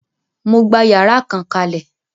Mo gbà yàrá kan kalẹ.